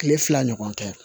Kile fila ɲɔgɔn tɛ